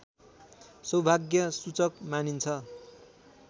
सौभाग्यसूचक मानिन्छ